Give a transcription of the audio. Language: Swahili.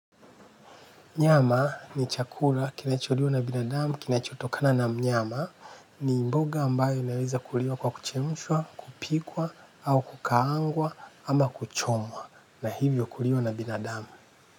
Nyama ni chakula kinacho liwa na binadamu kinachotokana na mnyama ni mboga ambayo inaweza kuliwa kwa kuchemushwa, kupikwa, au kukaangwa, ama kuchomwa. Na hivyo kulio na binadamu.